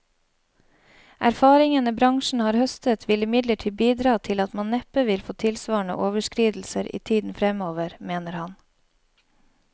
Erfaringene bransjen har høstet vil imidlertid bidra til at man neppe vil få tilsvarende overskridelser i tiden fremover, mener han.